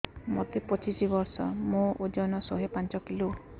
ମୋତେ ପଚିଶି ବର୍ଷ ମୋର ଓଜନ ଶହେ ପାଞ୍ଚ କିଲୋ